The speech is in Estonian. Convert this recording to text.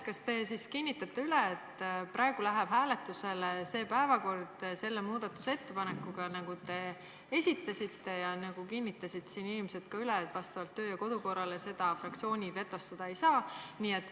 Kas te siis kinnitate, et praegu läheb hääletusele see päevakord sellise muudatusettepanekuga, nagu te esitasite ja mille kohta siin inimesed ka üle kinnitasid, et vastavalt töö- ja kodukorrale fraktsioonid seda vetostada ei saa?